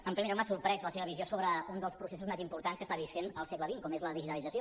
en primer lloc m’ha sorprès la seva visió sobre un dels processos més importants que està vivint el segle xx com és la digitalització